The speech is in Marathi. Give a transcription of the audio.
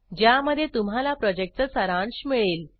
ज्यामध्ये तुम्हाला प्रॉजेक्टचा सारांश मिळेल